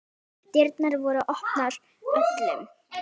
Dyrnar voru opnar öllum.